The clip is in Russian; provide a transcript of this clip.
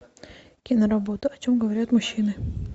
киноработа о чем говорят мужчины